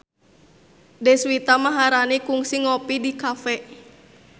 Deswita Maharani kungsi ngopi di cafe